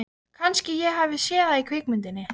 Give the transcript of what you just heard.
Hvað var maðurinn að gefa í skyn?